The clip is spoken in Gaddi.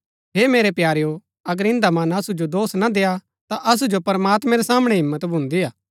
हे मेरै प्यारेओ अगर इन्दा मन असु जो दोष ना देय्आ ता असु जो प्रमात्मैं रै सामणै हिम्मत भुन्‍दीआ